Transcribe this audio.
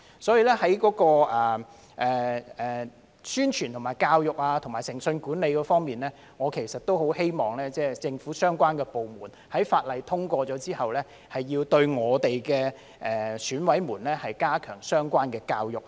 所以，在宣傳、教育和誠信管理方面，我很希望政府相關部門在《2021年完善選舉制度條例草案》通過後，對我們的選委加強相關的教育。